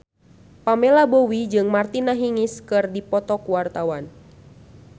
Pamela Bowie jeung Martina Hingis keur dipoto ku wartawan